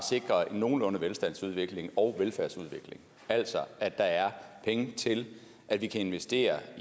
nogenlunde velstandsudvikling og velfærdsudvikling altså at der er penge til at vi kan investere